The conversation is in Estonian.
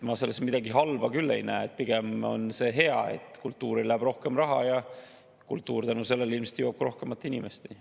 Ma selles midagi halba küll ei näe, pigem on see hea, et kultuurile läheb rohkem raha ja kultuur tänu sellele ilmselt jõuab ka rohkemate inimesteni.